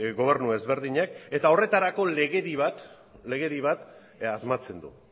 gobernu ezberdinek eta horretarako legedi bat asmatzen du